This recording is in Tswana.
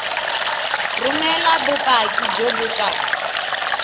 romela bopaki jo bo tswang